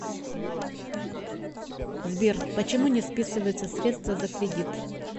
сбер почему не списываются средства за кредит